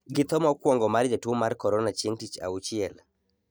gi tho mokwongo mar jatuwo mar korona chieng' tich auchiel,